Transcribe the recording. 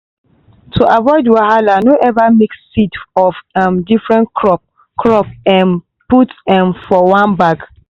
to avoid wahala no ever mix seed of um different crop crop um put um for one bag.